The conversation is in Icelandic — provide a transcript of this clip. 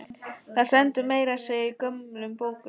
Það stendur meira að segja í gömlum bókum.